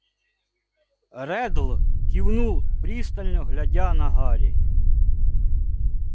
реддл кивнул пристально глядя на гарри